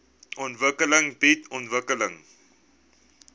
ontwikkeling bied ontwikkeling